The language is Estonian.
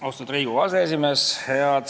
Austatud Riigikogu aseesimees!